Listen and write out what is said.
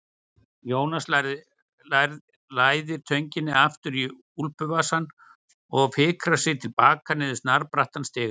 Jónas læðir tönginni aftur í úlpuvasann og fikrar sig til baka niður snarbrattan stigann.